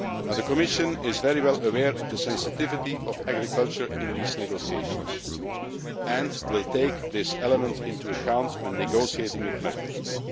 The Commission is very well aware of the sensitivity of agriculture in these negotiations and will take this element into account when negotiating with Mercosur.